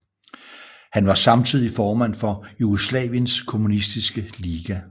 Han var samtidig formand for Jugoslaviens kommunistiske liga